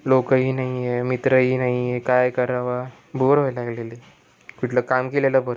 लोकं ही नाही आहे मित्र ही नाही आहे काय करावा बोर व्हायला लागलाय कुठलं काम केलेलं बरं --